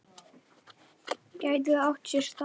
Gæti það átt sér stað?